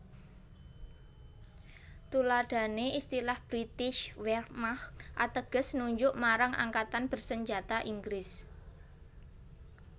Tuladhané istilah Britische Wehrmacht ateges nunjuk marang angkatan bersenjata Inggris